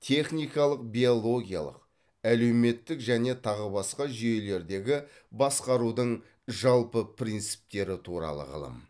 техникалық биологиялық әлеуметтік және тағы басқа жүйелердегі басқарудың жалпы принциптері туралы ғылым